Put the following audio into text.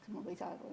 Ma palun lisaaega.